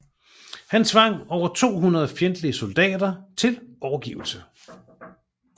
Han tvang over 200 fjendtlige soldater til overgivelse